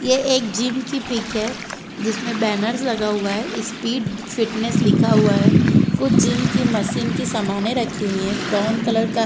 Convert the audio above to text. ये एक जिम की पिक है जिसमे बैनर्स लगा हुआ है इस्पीड _फिटनेस लिखा हुआ है कुछ जिम की मसीन की समाने रखी हुई है ब्राउन कलर का --